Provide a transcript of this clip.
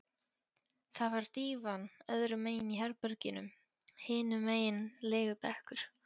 Það var dívan öðrum megin í herberginu, hinum megin legubekkur.